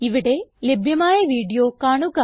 ഇവിടെ ലഭ്യമായ വീഡിയോ കാണുക